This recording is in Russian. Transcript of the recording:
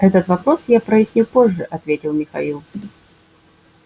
этот вопрос я проясню позже ответил михаил